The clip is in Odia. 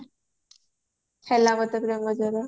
ହେଲା ମତେ ପ୍ରେମ ଜର